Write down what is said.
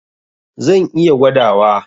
Zan iya gwadawa.